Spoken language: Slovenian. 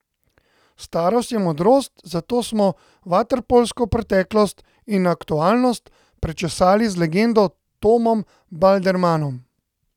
Starost je modrost, zato smo vaterpolsko preteklost in aktualnost prečesali z legendo Tomom Baldermanom.